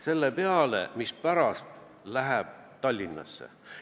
Millegi peale, mis pärast läheb Tallinnasse.